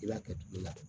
I b'a kɛ tulu la